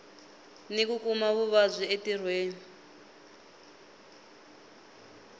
ni ku kuma vuvabyi entirhweni